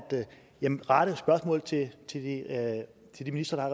rette spørgsmålet til de ministre